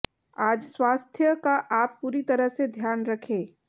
आज स्वास्थ्य का आप पूरी तरह से ध्यान रखें